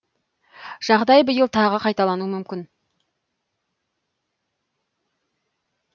жағдай биыл тағы қайталануы мүмкін